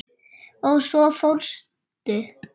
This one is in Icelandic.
Og svo fórstu.